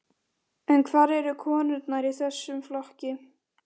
En hvar eru konurnar í þessum flokki?